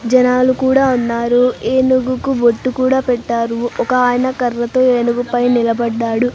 జనాలు కూడా ఉన్నారు ఏనుగుకు బొట్టు కూడా పెట్టారు ఒక ఆయన కర్రతో ఏనుగు పై నిలబడ్డాడు.